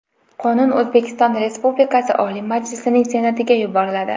Qonun O‘zbekiston Respublikasi Oliy Majlisining Senatiga yuboriladi.